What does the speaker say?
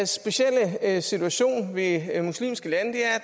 specielle situation ved muslimske lande